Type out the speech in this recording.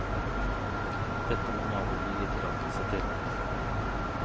Dette må naboene gi tillatelse til.